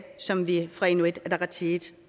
som vi fra inuit ataqatigiits